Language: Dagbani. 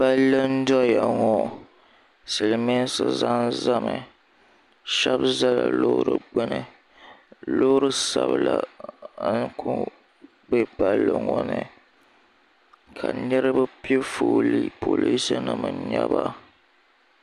palli n-doya ŋɔ silimiinsi za zami shɛba zala loori gbuni loori sabila n-ku be palli ŋɔ ni ka niriba pe foolii polinsi nima n-nyɛ ba.